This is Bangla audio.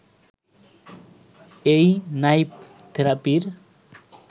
এই নাইফ থেরাপির